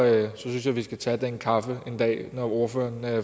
synes jeg at vi skal tage den kaffe en dag når ordføreren